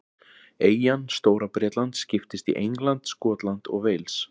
Eyjan Stóra-Bretland skiptist í England, Skotland og Wales.